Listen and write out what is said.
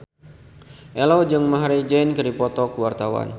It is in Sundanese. Ello jeung Maher Zein keur dipoto ku wartawan